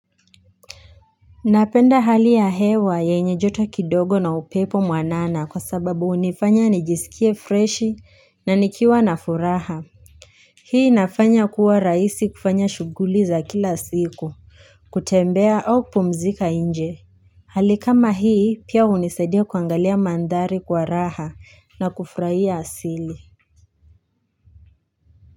Napenda hali ya hewa yenye joto kidogo na upepo mwanana kwa sababu hunifanya nijisikie freshi na nikiwa na furaha Hii inafanya kuwa rahisi kufanya shughuli za kila siku. Kutembea au kupumzika nje Hali kama hii pia hunisadia kuangalia mandhari kwa raha na kufurahia asili.